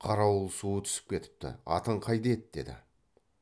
қарауыл суы түсіп кетіпті атың қайда еді деді